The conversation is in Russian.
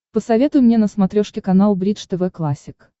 посоветуй мне на смотрешке канал бридж тв классик